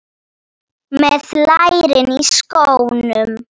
Með lærin í skónum.